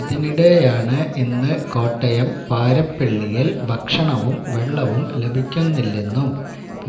ഇതിനിടെയാണ് ഇന്ന് കോട്ടയം പാരിപ്പള്ളിയിൽ ഭക്ഷണവും വെള്ളവും ലഭിക്കുന്നില്ലെന്നും